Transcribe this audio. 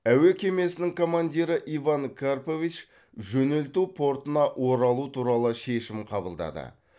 әуе кемесінің командирі иван карпович жөнелту портына оралу туралы шешім қабылдады